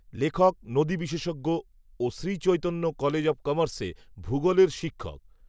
লেখক নদীবিশেষজ্ঞ, ও শ্রীচৈতন্য কলেজ অব কমার্সে, ভূগোলের শিক্ষক